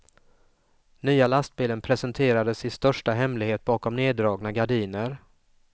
Nya lastbilen presenterades i största hemlighet bakom nerdragna gardiner.